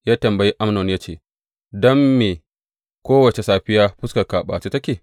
Ya tambayi Amnon ya ce, Don me kowace safiya fuskarka a ɓace take?